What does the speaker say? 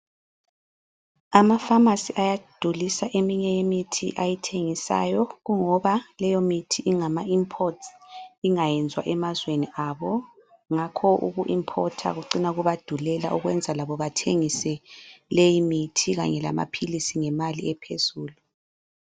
Ama phamarcy ayadulisa eminye imithi ayithengisayo kungoba leyo mithi ingama imports ingayenziwa emazweni abo. Ngakho uku importer kucina kubadulela okwenza labo bathengise leyi mithi kanye lamaphilisi ngemali ephezulu.